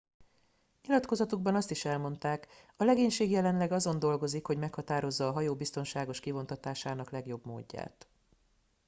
nyilatkozatukban azt is elmondták a legénység jelenleg azon dolgozik hogy meghatározza a hajó biztonságos kivontatásának legjobb módját